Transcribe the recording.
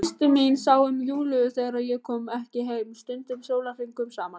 Systir mín sá um Júlíu þegar ég kom ekki heim, stundum sólarhringum saman.